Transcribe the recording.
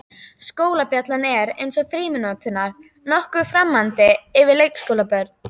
Skólabjallan er, eins og frímínúturnar, nokkuð framandi fyrir leikskólabörnin.